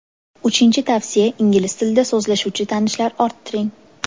Uchinchi tavsiya ingliz tilida so‘zlashuvchi tanishlar orttiring.